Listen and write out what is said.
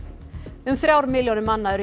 um þrjár milljónir manna eru